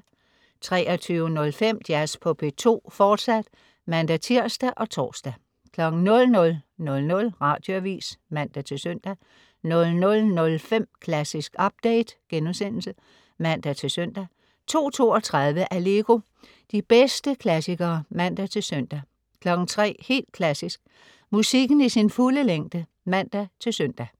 23.05 Jazz på P2, fortsat (man-tirs og tors) 00.00 Radioavis (man-søn) 00.05 Klassisk update* (man-søn) 02.32 Allegro. De bedste klassikere (man-søn) 03.00 Helt Klassisk. Musikken i sin fulde længde (man-søn)